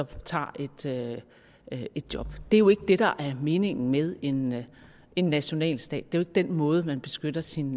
tager et job det er jo ikke det der er meningen med en med en nationalstat det er den måde man beskytter sin